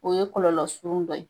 O ye kɔlɔlɔ surun dɔ ye.